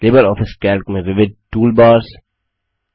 Libre office Calc में विविध toolbars